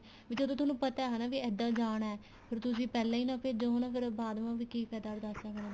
ਵੀ ਜਦੋਂ ਤੁਹਾਨੂੰ ਪਤਾ ਹਨਾ ਵੀ ਇੱਦਾਂ ਜਾਣਾ ਫੇਰ ਤੁਸੀਂ ਪਹਿਲਾਂ ਈ ਨਾ ਭੇਜੋ ਹਨਾ ਬਾਅਦ ਮਾ ਵੀ ਕੀ ਫਾਇਦਾ ਅਰਦਾਸਾ ਕਰਨ ਦਾ